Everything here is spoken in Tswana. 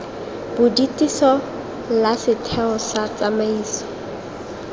bodutiso la setheo sa tsamaiso